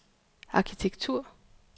arkitektur